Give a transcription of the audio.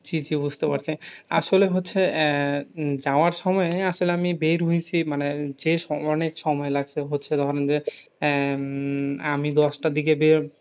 ঠিকি বুঝতে পারছি। আসলে হচ্ছে আহ যাওয়ার সময় আসলে আমি বের হয়ছি মানে, যে অনেক সময় লাগছে। হচ্ছে ধরেন যে, আহ আমি দশটার দিকে বের,